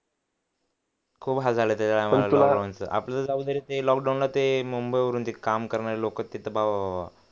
खूप आपलं जाऊ दे रे ते लॉकडाउन ला ते मुंबईवरून ते काम करणारे लोकं तिथं